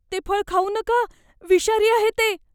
ते फळ खाऊ नका. विषारी आहे ते.